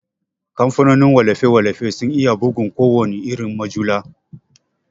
Kamfanin wallafe-wallafe sun iya bugun kowana irin mujalla.